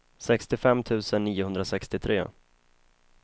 sextiofem tusen niohundrasextiotre